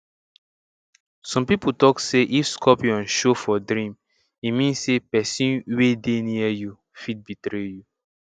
some people talk say if scorpion show for dream e mean say person wey dey near you fit betray you